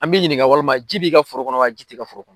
An mɛ i ɲininka walima ji b'i ka foro kɔnɔ wa ji tɛ i ka foro kɔnɔ.